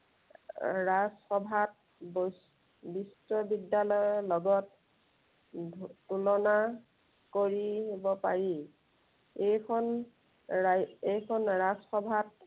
এৰ ৰাজসভাত বি~ বিশ্ব বিদ্য়ালয়ৰ লগত উম তুলনা কৰিব পাৰি। এইখন ৰা এইখন ৰাজসভাত